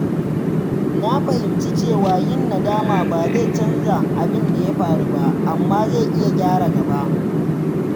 Na fahimci cewa yin nadama ba zai canza abin da ya faru ba, amma zai iya gyara gaba.